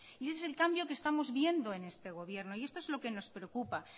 y ese es el cambio que estamos viendo en este gobierno y esto es lo que nos preocupa